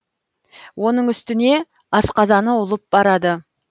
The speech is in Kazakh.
оның үстіне асқазаны ұлып барады